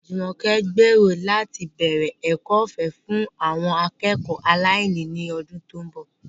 Jumoke gbèrò láti bẹ̀rẹ̀ ẹ̀kọ́ ọ̀fẹ́ fún àwọn akẹ́kọ̀ọ́ aláìní ní ọdún tó ń bọ̀.